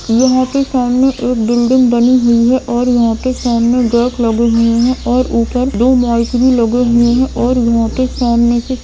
यहाँ के सामने एक बिल्डिंग बनी हुई है और यहाँ के सामने गेट लगी हुए है और उप्पर दो बॉलकनी लगे हुए है और यहाँ के सामने से--